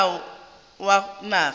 ya ka molao wa naga